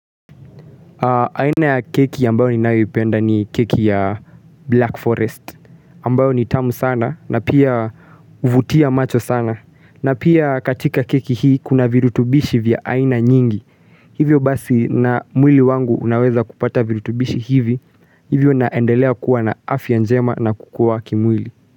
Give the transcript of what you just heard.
Aina ya keki ambayo ninayoipenda ni keki ya Black Forest ambayo ni tamu sana na pia huvutia macho sana na pia katika keki hii kuna virutubishi vya aina nyingi hivyo basi na mwili wangu unaweza kupata virutubishi hivi hivyo naendelea kuwa na afya njema na kukua kimwili.